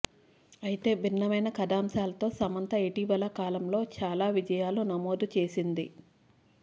అయితే భిన్నమైన కథాంశాలతో సమంత ఇటీవల కాలంలో చాల విజయాలు నమోదు చేసింది